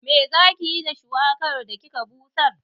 Me zaki yi da shuwakar da kika busar?